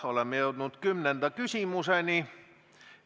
Oleme jõudnud 10. küsimuseni.